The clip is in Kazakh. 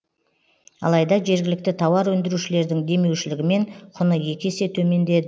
алайда жергілікті тауар өндірушілердің демеушілігімен құны екі есе төменде